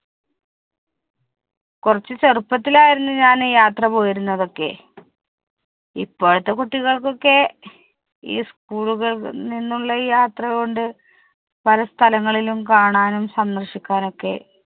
കുറച്ചു ചെറുപ്പത്തിൽ ആയിരുന്നു ഞാൻ യാത്ര പോയിരുന്നത് ഒക്കെ. ഇപ്പോഴത്തെ കുട്ടികൾക്ക് ഒക്കെ ഈ school കളിൽ നിന്നുള്ള ഈ യാത്ര കൊണ്ട് പല സ്ഥലങ്ങളിലും കാണാനും സന്ദർശിക്കാനും ഒക്കെ